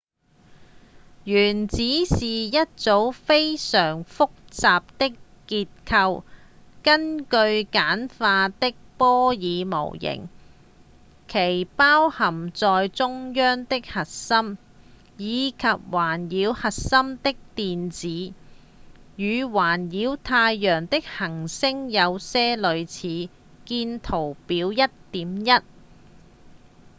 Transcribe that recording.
原子是一組非常複雜的結構根據簡化的波爾模型其包含在中央的核心以及環繞核心的電子與環繞太陽的行星有些類似見圖表 1.1